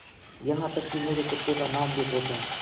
यहाँ तक कि मेरे कुत्ते का नाम भी पूछा